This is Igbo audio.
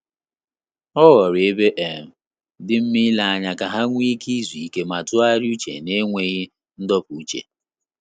Ọ ghọrọ ebe um dị nma ile anya ka ha nwe ike izu ike ma tụgharịa uche na-enweghị ndopu uche